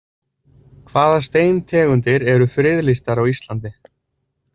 Hvaða steintegundir eru friðlýstar á Íslandi?